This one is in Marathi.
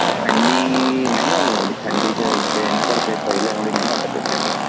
थंडी नाही आहे बावा एवढी थंडी म्हणजे जे आहे न पहिल्या एवढी थंडी तेवढी नाही वाटतेय थंडी